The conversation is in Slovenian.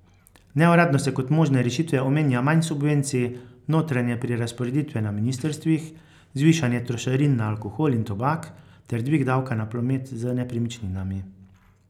Neuradno se kot možne rešitve omenja manj subvencij, notranje prerazporeditve na ministrstvih, zvišanje trošarin na alkohol in tobak ter dvig davka na promet z nepremičninami.